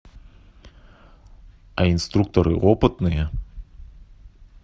а инструкторы опытные